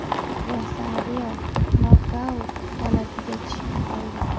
Rosario nokaut holatiga tushib qoldi.